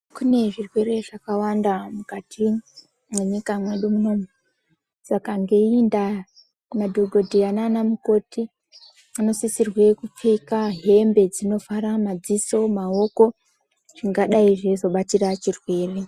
Kune zvirwere zvakawanda mukati mwenyika mwedu munomu, saka ngeiyi ndaa, madhokodheya nana mukoti vanosisirwe kupfeka hembe dzinovhara madziso, maoko zvingadai zveizobatira chirwere.